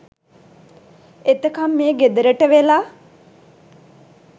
එතකං මේ ගෙදරට වෙලා